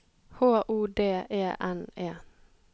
H O D E N E